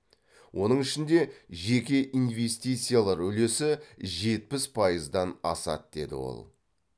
оның ішінде жеке инвестициялар үлесі жетпіс пайыздан асады деді ол